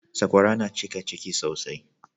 Sakwara na cika ciki sosai